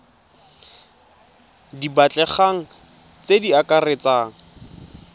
di batlegang tse di akaretsang